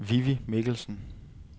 Vivi Michelsen